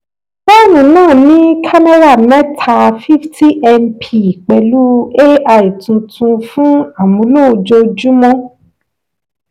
fóònù náà ní kámẹ́rà mẹ́ta fifty mp pẹ̀lú ai tuntun fún amúlò ojojúmọ́.